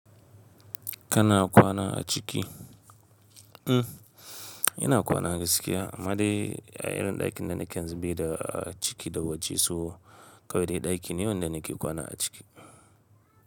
Kana kwana a ciki? Mm, ina kwana na gaskiya. Amma dai irin ɗakin da nake yanxu bai da ciki da waje so, kawai dai ɗaki ne wanda nake kwana a ciki.